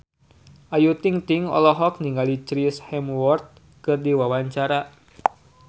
Ayu Ting-ting olohok ningali Chris Hemsworth keur diwawancara